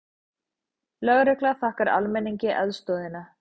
Lögregla þakkar almenningi aðstoðina